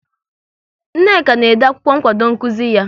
Nneka na-ede akwụkwọ nkwado nkuzi ya